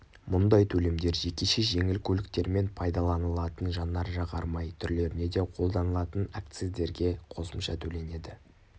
мұндай төлемдер жекеше жеңіл көліктермен пайдаланылатын жанар-жағар май түрлеріне де қолданылатын акциздерге қосымша төленеді